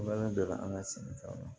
an ka sɛnɛkɛlaw la